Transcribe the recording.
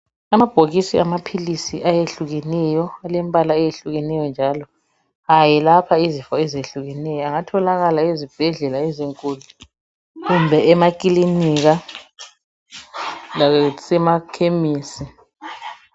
Amabhokisi amaphilisi ayehlukeneyo alembala eyehlukeneyo njalo ayelapha izifo ezehlukeneyo angatholakala ezibhedlela ezinkulu kumbe emakilinika lasemakhemisi.